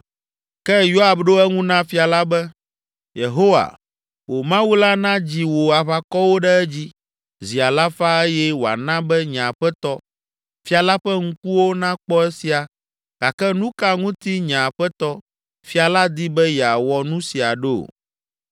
Ke Yoab ɖo eŋu na fia la be, “Yehowa, wò Mawu la nadzi wò aʋakɔwo ɖe edzi zi alafa eye wòana be nye aƒetɔ, fia la ƒe ŋkuwo nakpɔ esia gake nu ka ŋuti nye aƒetɔ, fia la di be yeawɔ nu sia ɖo?”